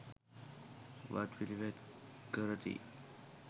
වත් පිළිවෙත් කරති.